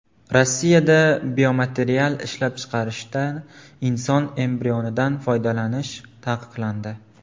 Rossiyada biomaterial ishlab chiqarishda inson embrionidan foydalanish taqiqlandi.